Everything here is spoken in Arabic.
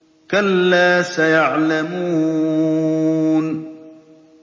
كَلَّا سَيَعْلَمُونَ